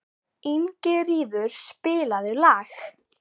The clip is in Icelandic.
Ingiríður, spilaðu lag.